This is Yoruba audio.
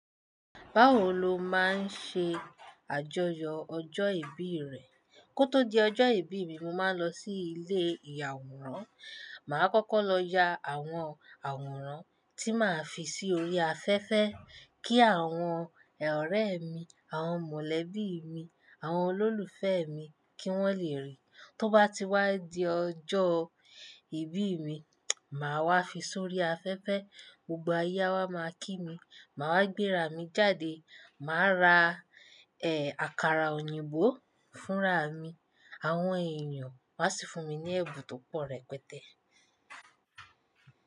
Báwo lo máa ń ṣe àjọyọ̀ ọjọ́ ìbí rẹ? Kó tó di ọjọ́ ìbí mi, mo máa ń lọ sí ilé ìyàwòrán. Màá kọ́kọ́ lọ ya àwọn àwòrán tí màá fi sí orí afẹ́fẹ́ kí àwọn ọ̀rẹ́ mi, àwọn mọ̀lẹ́bí mi, àwọn olólùfẹ́ mi kí wọ́n lè rí. Tó bá ti wá di ọjọ́ ìbí mi, màá wá fi s'ori afẹ́fẹ́, gbogbo aye máa kí mi. Màá wá gbéra mi jáde, màá ra, ẹ́, àkàrà òyìnbó fúnra mi. Àwọn ènìyàn máa sì fún mi ní ẹ̀bùn tó pọ̀ rẹpẹtẹ́.